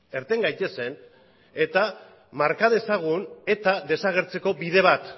irten gaitezen eta marka dezagun eta desagertzeko bide bat